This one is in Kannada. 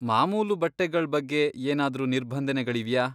ಮಾಮೂಲು ಬಟ್ಟೆಗಳ್ ಬಗ್ಗೆ ಏನಾದ್ರೂ ನಿರ್ಬಂಧನೆಗಳಿವ್ಯಾ?